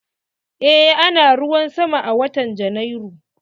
Eh ana ruwan sama a watan Janairu.